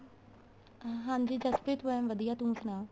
ਹਾਂਜੀ ਜਸਪ੍ਰੀਤ ਮੈਂ ਵਧੀਆ ਤੂੰ ਸੁਣਾ